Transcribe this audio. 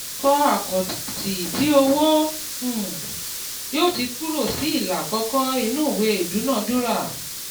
kọ́ àkáǹtì tí owó um yóò ti kúrò sí ìlà àkọ́kọ́ ìnú ìwé idúnadúrà.